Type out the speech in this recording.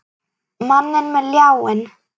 Manninn með ljáinn.